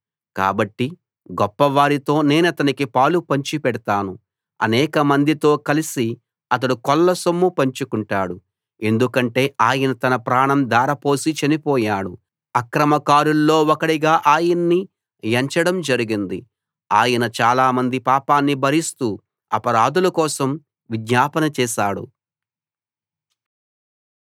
కాబట్టి గొప్పవారితో నేనతనికి పాలు పంచిపెడతాను అనేకమందితో కలిసి అతడు కొల్లసొమ్ము పంచుకుంటాడు ఎందుకంటే ఆయన తన ప్రాణం ధారపోసి చనిపోయాడు అక్రమకారుల్లో ఒకడిగా ఆయన్ని ఎంచడం జరిగింది ఆయన చాలామంది పాపాన్ని భరిస్తూ అపరాధుల కోసం విజ్ఞాపన చేశాడు